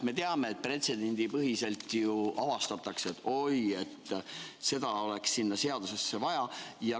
Me teame, et pretsedendipõhiselt ju avastatakse, et oi, seda oleks sinna seadusesse vaja.